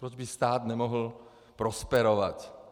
Proč by stát nemohl prosperovat?